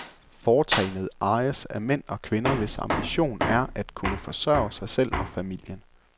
Foretagendet ejes af mænd og kvinder, hvis ambition er at kunne forsørge sig selv og familien.